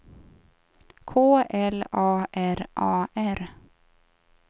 K L A R A R